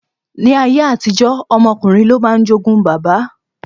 Ní ayé àtijó, ọmọ ọkùnrin ló máa ń jogún baba.